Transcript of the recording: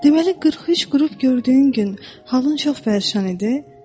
Deməli, 43 qürub gördüyün gün halın çox bərbad imiş.